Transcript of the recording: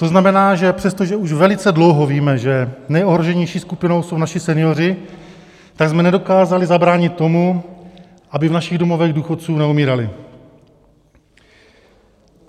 To znamená, že přestože už velice dlouho víme, že nejohroženější skupinou jsou naši senioři, tak jsme nedokázali zabránit tomu, aby v našich domovech důchodců neumírali.